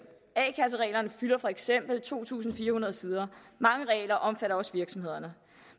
a kassereglerne fylder for eksempel to tusind fire hundrede sider og mange regler omfatter også virksomhederne